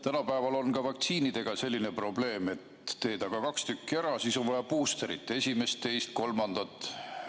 Tänapäeval on ka vaktsiinidega selline probleem, et teed kaks tükki ära, aga siis on vaja buusterit, esimest-teist-kolmandat.